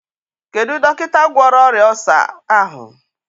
Kedụ dọkịta gwọrọ ọrịa ọlsa ahụ?